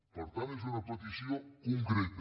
per tant és una petició concreta